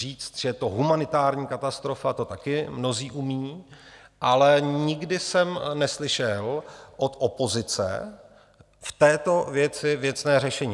Říct, že je to humanitární katastrofa, to také mnozí umí, ale nikdy jsem neslyšel od opozice v této věci věcné řešení.